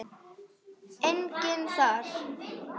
Enginn þar.